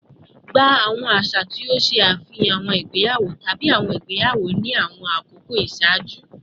Gba awọn aṣa ti o ṣe afihan awọn igbeyawo tabi awọn igbeyawo ni awọn akoko iṣaaju